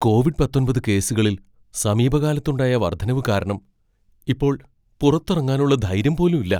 Covid പത്തൊൻപത് കേസുകളിൽ സമീപകാലത്തുണ്ടായ വർദ്ധനവ് കാരണം ഇപ്പോൾ പുറത്തിറങ്ങാനുള്ള ധൈര്യം പോലും ഇല്ല.